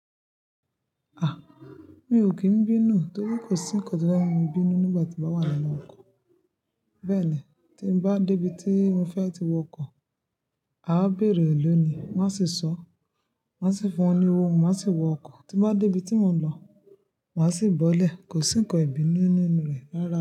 A! Mi ò kí ń bínú torí kò sí ńkán tí ó fé mú mi bínú nígbà tí mo wà nínú ọkọ̀. Bẹ́ẹ̀ ni, tí bá dé ibi tí mo fẹ́ ti wọ ọkọ̀, a ó bèèrè lónìí, wón a sì sọ́, wón a sì fún wọn ní owó, mo máa sì wọ ọkọ̀. Ti mo bá dé ibi tí mò ń lọ, màá sì bọ́lẹ̀. Kò sí ńkán ìbínú nínú rẹ̀ rárá.